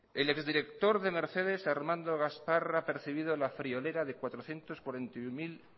el ex director de mercedes armando gaspar ha percibido la friolera de cuatrocientos cuarenta y uno